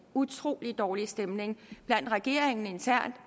utrolig dårlig stemning i regeringen internt